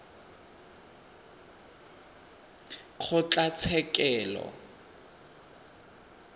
kgotlatshekelo